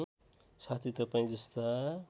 साथै तपाईँ जस्ता